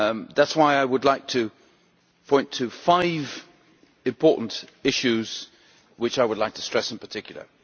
That is why I would like to point to five important issues which I would like to stress in particular.